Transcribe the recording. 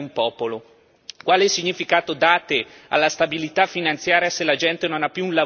Gli interessi delle banche e della finanza sono per voi più importanti delle scelte e della volontà di un popolo.